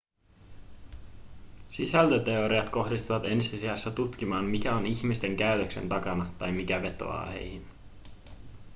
sisältöteoriat kohdistuvat ensi sijassa tutkimaan mikä on ihmisten käytöksen takana tai mikä vetoaa heihin